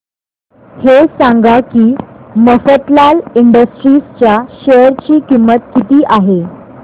हे सांगा की मफतलाल इंडस्ट्रीज च्या शेअर ची किंमत किती आहे